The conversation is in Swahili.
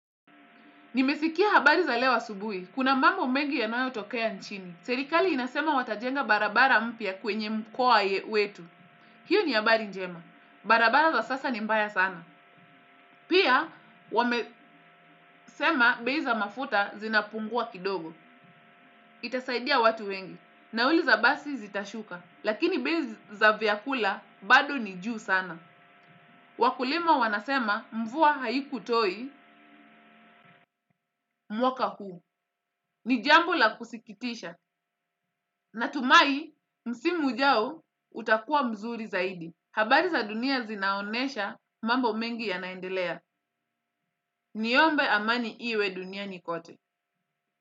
Nimesikia habari za leo asubuhi. Kuna mambo mengi yanayo tokea nchini. Serikali inasema wata jenga barabara mpya kwenye mkoa wetu. Hiyo ni habari njema. Barabara za sasa ni mbaya sana. Pia wamesema bei za mafuta zinapungua kidogo. Itasaidia watu wengi. Nauli za basi zitashuka. Lakini bei za vyakula bado ni juu sana. Wakulima wanasema mvua haiku toi mwaka huu. Ni jambo la kusikitisha, natumai msimu ujao utakua mzuri zaidi. Habari za dunia zinaonesha mambo mengi yanaendelea, niombe amani iwe dunia nikote.